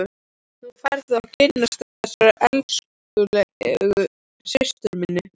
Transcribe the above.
Nú færðu að kynnast þessari elskulegu systur minni!